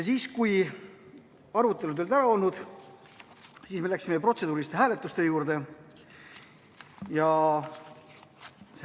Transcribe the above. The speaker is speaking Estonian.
Kui arutelu oli ära olnud, siis me läksime protseduuriliste hääletuste juurde.